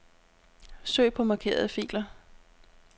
Søg på markerede filer.